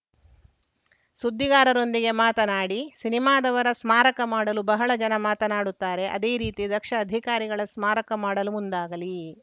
ಸುದ್ದಿಗಾರರೊಂದಿಗೆ ಮಾತನಾಡಿ ಸಿನಿಮಾದವರ ಸ್ಮಾರಕ ಮಾಡಲು ಬಹಳ ಜನ ಮಾತನಾಡುತ್ತಾರೆ ಅದೇ ರೀತಿ ದಕ್ಷ ಅಧಿಕಾರಿಗಳ ಸ್ಮಾರಕ ಮಾಡಲು ಮುಂದಾಗಲಿ